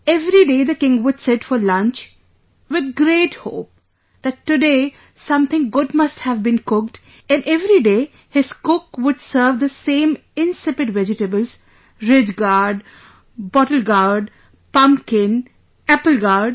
Every day the king would sit for lunch with great hope that today something good must have been cooked and everyday his cook would serve the same insipid vegetablesridge gourd, bottle gourd, pumpkin, apple gourd